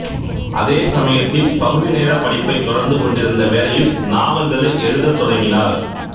அதே சமயத்தில் பகுதிநேர படிப்பைத் தொடர்ந்து கொண்டிருந்த வேளையில் நாவல்களை எழுதத் தொடங்கினார்